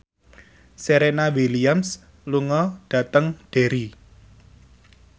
Serena Williams lunga dhateng Derry